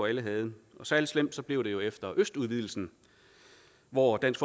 alle havde og særlig slemt blev det jo efter østudvidelsen hvor dansk